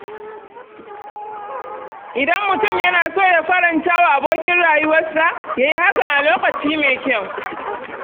Idan mutum yana so ya faranta wa abokin rayuwarsa, ya yi hakan a lokaci mai kyau.